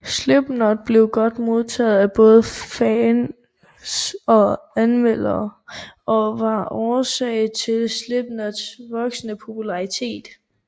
Slipknot blev godt modtaget af både fans og anmeldere og var årsag til Slipknots voksende popularitet